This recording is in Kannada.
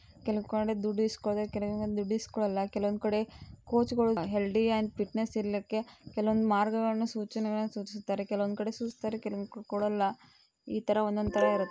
ಕೆಲವ್ ಕಡೆ ದುಡ್ಡು ಇಸ್ಕೊಳ್ದೆ ಕೆಲವ್ ದುಡ್ಡು ಇಸ್ಕೊಳಲ್ಲ. ಕೆಲೊವೊನ್ದ್ ಕಡೆ ಕೋಚ್ ಗಳು ಹೆಲ್ಡಿ ಆಂಡ್ ಫಿಟ್ನೆಸ್ ಇರ್ಲಿಕ್ಕೆ ಕೆಲವೊಂದು ಮಾರ್ಗಗಳನ್ನು ಸೂಚನೆಗಳನ್ನು ಸೂಚಿಸುತ್ತಾರೆ. ಕೆಲವೊಂದ್ ಕಡೆ ಸೂಚ್ಸ್ತಾರೆ. ಕೆಲವೊಂದ್ ಕಡೆ ಕೊಡಲ್ಲ. ಈ ತರಹ ಒಂದೊಂದ್ ತರ ಇರುತ್--